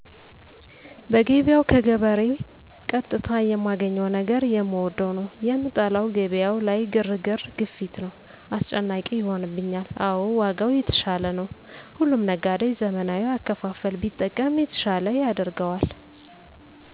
በገበያው ከገበሬ ቀጥታ የማገኘው ነገር የምወደው ነው። የምጠላው ገበያው ላይ ግርግር፤ ግፊት ነው። አስጨናቂ ይሆንብኛል። አዎ ዋጋው የተሻለ ነው። ሁሉም ነጋዴ ዘመናዊ አከፋፈል ቢጠቀም የተሻለ ያደርገዋል።